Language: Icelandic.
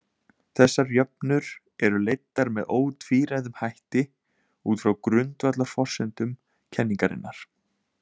Þessar jöfnur eru leiddar með ótvíræðum hætti út frá grundvallarforsendum kenningarinnar.